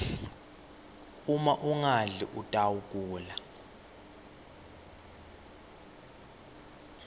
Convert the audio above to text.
uma ungadli utawgula